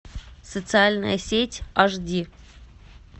социальная сеть аш ди